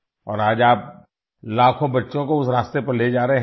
और आज आप लाखों बच्चों को उस रास्ते पर ले जा रहे हैं